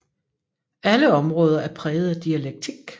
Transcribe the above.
Alle områder er præget af dialektik